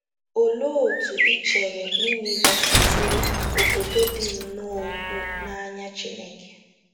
Olee otú ị chere Nịnịve si bụrụ “ obodo dị nnọọ ukwuu n’anya Chineke ”?